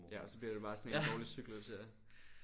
Ja så bliver det bare sådan en dårlig cyklus ja